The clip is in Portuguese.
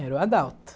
Era o Adalto.